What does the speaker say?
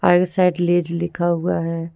Side Lay's लिखा हुआ है।